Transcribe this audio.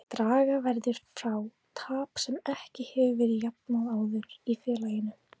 Draga verður frá tap sem ekki hefur verið jafnað áður í félaginu.